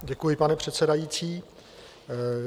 Děkuji, pane předsedající.